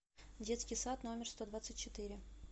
детский сад номер сто двадцать четыре